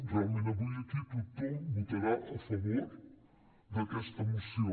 realment avui aquí tothom votarà a favor d’aquesta moció